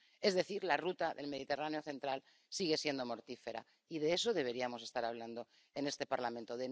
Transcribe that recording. Es decir, la ruta del Mediterráneo central sigue siendo mortífera, y de eso deberíamos estar hablando en este Parlamento.